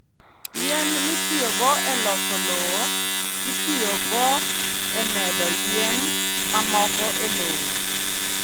Yien mitiyogo e loso lowo, itiyogo e medo yien mamoko e lowo.